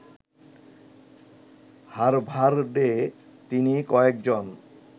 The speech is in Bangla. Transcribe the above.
হার্ভার্ডে তিনি কয়েকজন